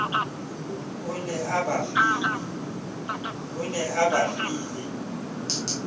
o ne a ba file